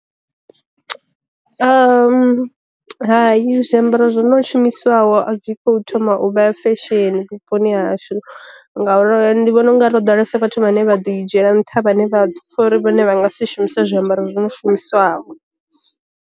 Hayi zwiambaro zwi no shumiswaho a dzi khou thoma u vha fesheni vhuponi hashu, ngauri ndi vhona ungari ho ḓalesa vhathu vhane vha ḓi dzhiela nṱha vhane vha pfha uri vhone vha nga si shumisa zwiambaro zwi no shumiswaho.